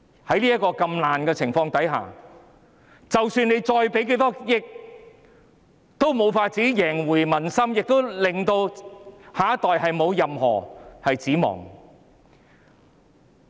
在這麼"爛"的情況下，即使政府撥出多少億元也無法贏回民心，亦令下一代沒有任何指望。